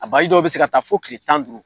A dɔw bi se ka taa fo kile tan ni duuru